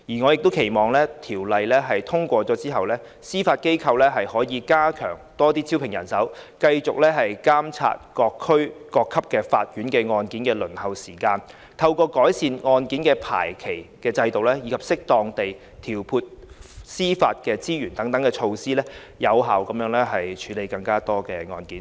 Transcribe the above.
我亦期望《條例草案》通過後，司法機構可以加強招聘人手，繼續監察各級法院案件的輪候時間，透過改善案件的排期制度及適當地調配司法資源等措施，有效地處理更多案件。